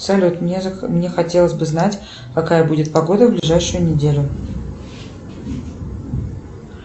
салют мне хотелось бы знать какая будет погода в ближайшую неделю